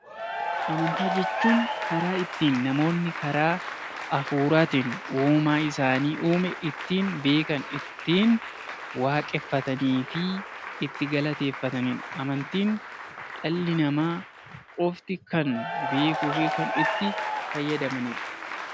Amantaa jechuun karaa ittiin namoonni karaa hafuuraatiin uumaa isaan uume ittiin beekan ittiin waaqeffatanii fi ittiin galateeffanidha. Amantiin dhalli namaa qofti kan beekuu fi kan itti fayyadamanidha